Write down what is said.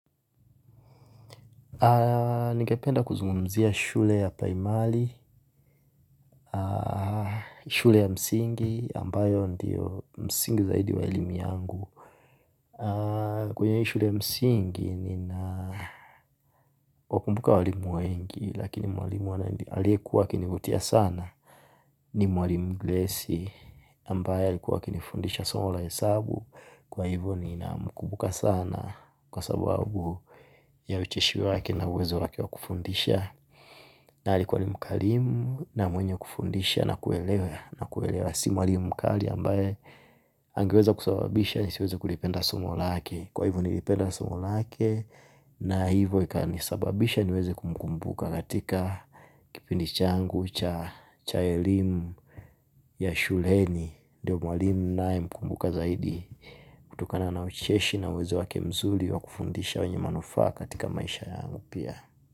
Ningependa kuzungumzia shule ya Priimali. Shule ya msingi ambayo ndiyo msingi zaidi wa elimi yangu. Kwenye shule ya msingi ni na wakumbuka walimu wengi lakini walimu wana aliyewa akinivutia sana. Ni mwalimu gresi ambaye alikuwa akinifundisha somo la hesabu. Kwa hivyo nina mkumbuka sana kwa sababu ya ucheshi wake na uwezo wake wa kufundisha. Na alikuwa ni mkarimu na mwenye kufundisha na kuelewa. Na kuelewa si mwalimu mkali ambaye angeweza kusababisha nisiweze kulipenda somo lake. Kwa hivyo nilipenda somo lake. Na hivyo ikanisababisha niweze kumkumbuka. Katika kipindi changu cha elimu ya shuleni. Ndiyo mwalimu ninaye mkumbuka zaidi. Kutokana na ucheshi na uweze wake mzuri wa kufundisha wenye manufaa katika maisha yangu pia.